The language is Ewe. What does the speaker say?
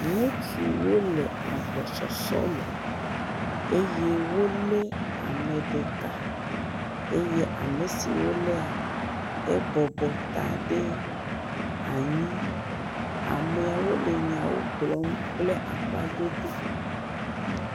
ŋutsuwo le agbɔ sɔsɔ me eye wóle ameɖeka eye amesi wolea e bɔbɔ ta ɖe anyi amɛawo kplɔm kple aƒa dodo